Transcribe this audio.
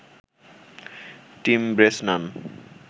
team Bresnan